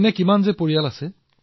এনেকুৱা বহুতো পৰিয়াল আছে